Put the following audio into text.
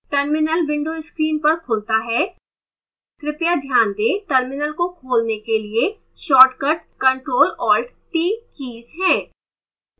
terminal window screen पर खुलता है कृपया ध्यान the terminal को खोलने के लिए shortcut ctrl + alt + t keys है